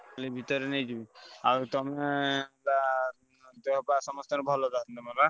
ଏଇ ଭିତରେ ନେଇଯିବି ଆଉ ତମେ ବା ଦେହ ପାହା ସମସ୍ତଙ୍କର ଭଲ ତାହେଲେ ?